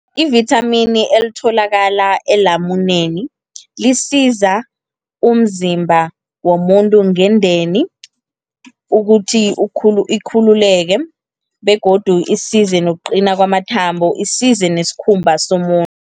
I-vithamini elitholakala elamuneni, lisiza umzimba womuntu ngendeni, ukuthi ikhululeke, begodu isize nokuqina kwamathambo. Isize neskhumba somuntu.